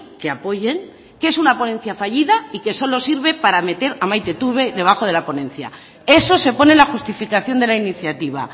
que apoyen que es una ponencia fallida y que solo sirve para meter a maite iturbe debajo de la ponencia eso se pone en la justificación de la iniciativa